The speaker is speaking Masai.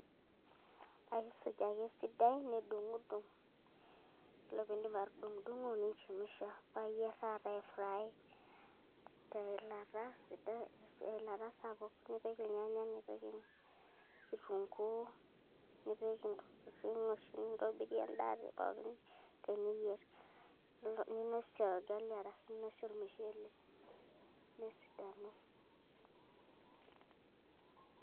aisuj ake esidai nidung' udung' yiolo piindip atudung'dung'o ninchemsha paa iyierr taa taata aifry teilata saapuk nipik ilnyanya nipik kitungu nipik intokitin oshi nintobirie endaa pookin teniyierr ninosie orgali arashu ninosie ormushele nesidanu.